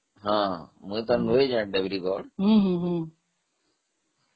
ହଁ ହଁମୁଁ ତ ଯାଇନାହିଁ ଦେବ୍ରିଗଡ଼ ହଁ ହଁ